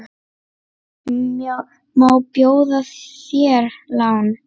Má bjóða þér lán?